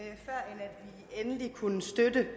endeligt kunne støtte det